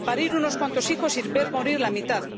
parir unos cuantos hijos y ver morir a la mitad